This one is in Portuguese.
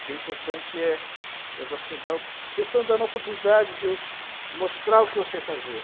O que é importante é é você dar... Vocês estão dando a oportunidade de mostrar o que eu sei fazer.